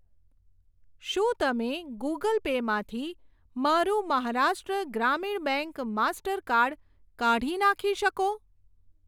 શું તમે Google Pay માંથી મારું મહારાષ્ટ્ર ગ્રામીણ બેંક માસ્ટરકાર્ડ કાઢી નાખી શકો?